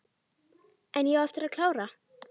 En ég á eftir að klára.